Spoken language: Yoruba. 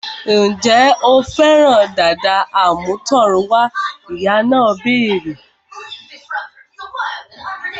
Ǹjẹ́ o fẹ́ràn dàda àmútọ̀runwá? Ìyá náà béèrè